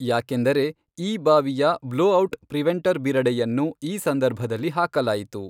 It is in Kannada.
ಯಾಕೆಂದರೆ ಈ ಬಾವಿಯ ಬ್ಲೊಔಟ್ ಪ್ರಿವೆಂಟರ್ ಬಿರಡೆಯನ್ನು ಈ ಸಂದರ್ಭದಲ್ಲಿ ಹಾಕಲಾಯಿತು.